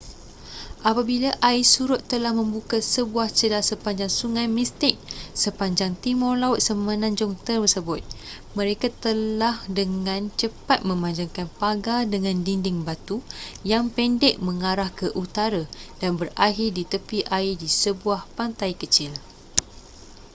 apabila air surut telah membuka sebuah celah sepanjang sungai mystic sepanjang timur laut semenanjung tersebut mereka telah dengan cepat memanjangkan pagar dengan dinding batu yang pendek mengarah ke utara dan berakhir di tepi air di sebuah pantai kecil